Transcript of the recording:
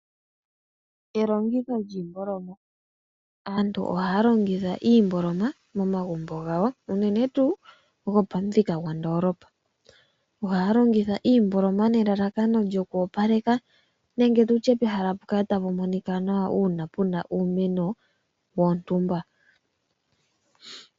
Elongitho lyiimboloma. Aantu ohaa longitha iimboloma momagumbo gawo unene tuu gopamuthika gwondoolopa. Ohaa longitha iimboloma nelalakano lyokwoopaleka, nenge tutye pehala pu kale tapu monika nawa uuna pu na uumeno wontumba.